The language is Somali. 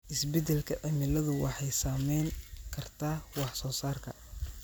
Isbeddelka cimiladu waxay saameyn kartaa wax soo saarka.